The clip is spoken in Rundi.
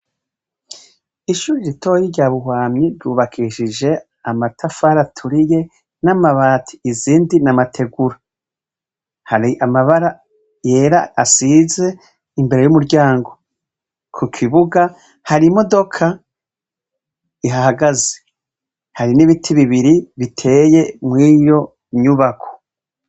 Ishure ritoyi rya Buhwamyi ryubakishije amatafari aturiye n'amabati, izindi n'amategura hari amabara yera asize imbere y'umuryango. Ku kibuga hari imodoka ihahagaze hari n'ibiti bibiri biteye mw'iyo nyubako.